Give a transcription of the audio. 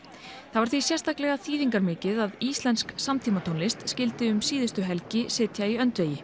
þá er því sérstaklega þýðingarmikið að íslensk samtímatónlist skyldi um síðustu helgi sitja í öndvegi